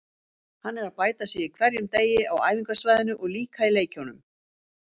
Hann er að bæta sig á hverjum degi á æfingasvæðinu og líka í leikjunum.